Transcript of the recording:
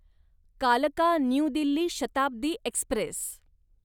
कालका new Delhi Shatabdi Express